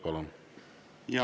Palun!